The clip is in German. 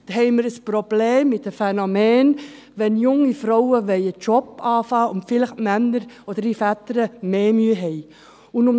Dann haben wir ein Problem mit dem Phänomen, dass vielleicht die Männer – oder die Väter – mehr Mühe damit haben, wenn junge Frauen einen Job beginnen wollen.